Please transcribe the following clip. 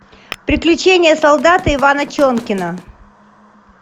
приключения солдата ивана чонкина